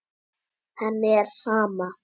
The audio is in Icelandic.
Henni er sama.